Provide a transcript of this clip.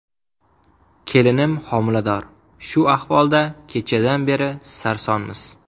Kelinim homilador, shu ahvolda kechadan beri sarsonmiz.